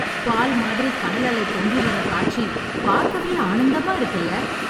பால் மாதிரி கடல் அலை பொங்கி வற காட்சி பார்க்கவே ஆனந்தமா இருக்குல